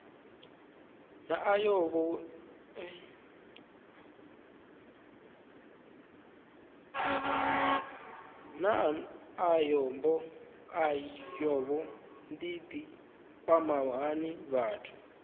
naa ayodini i kwama hani vhathu